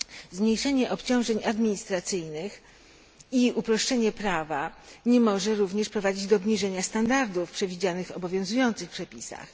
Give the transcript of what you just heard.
Zmniejszenie obciążeń administracyjnych i uproszczenie prawa nie może również prowadzić do obniżenia standardów, przewidzianych w obowiązujących przepisach.